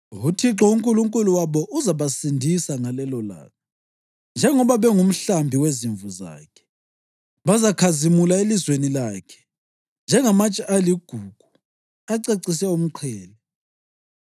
UThixo uNkulunkulu wabo uzabasindisa ngalelolanga njengoba bengumhlambi wezimvu zakhe. Bazakhazimula elizweni lakhe njengamatshe aligugu acecise umqhele.